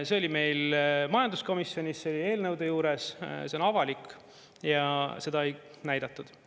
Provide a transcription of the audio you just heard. See oli meil majanduskomisjonis, see oli eelnõude juures, see on avalik ja seda ei näidatud.